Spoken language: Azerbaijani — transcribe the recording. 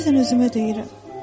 Bəzən özümə deyirəm: